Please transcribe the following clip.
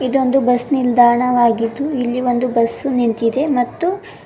ಇದು ಒಂದು ಬಸ್ ನಿಲ್ದಾಣವಾಗಿದ್ದು ಇಲ್ಲಿ ಒಂದು ಬಸ್ ನಿಂತಿದೆ ಮತ್ತು --